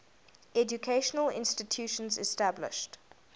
educational institutions established